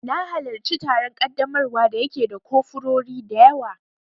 Na halarci taron ƙaddamarwa da ya ke da kofurori dayawa